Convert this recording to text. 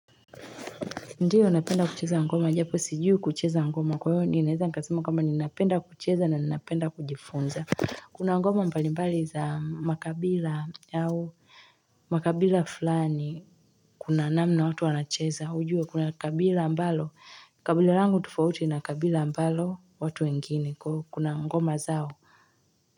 Ndiyo, napenda kucheza ngoma. Japo, sijui kucheza ngoma. Kwa hiyo, ninaweza nikasema kwamba ni napenda kucheza na ninapenda kujifunza. Kuna ngoma mbalimbali za makabila au makabila fulani. Kuna namna watu wanacheza. Kujua, kuna kabila ambalo. Kabila langu tofauti na kabila ambalo watu wengine. Kuna ngoma zao.